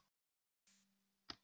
Hann býr á Álftanesi.